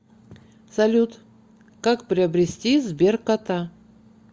салют как приобрести сберкота